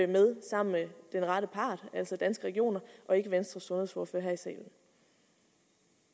med sammen med den rette part altså danske regioner og ikke venstres sundhedsordfører her